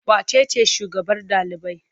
Wace ce shugabar ɗalibai?